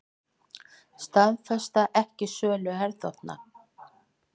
Staðfesta ekki sölu herþotna